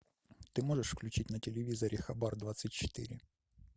ты можешь включить на телевизоре хабар двадцать четыре